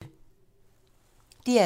DR2